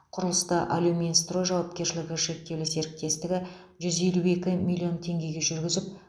құрылысты алюминстрой жауапкершілігі серіктестіктігі жүз елу екі миллион теңгеге жүргізіп